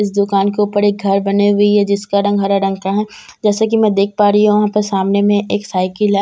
इस दुकान के ऊपर एक घर बनी हुई है जिसका रंग हरा रंग का है जैसे कि मैं देख पा रही हूं यहां पर सामने में एक साइकिल है जैसे कि मैं--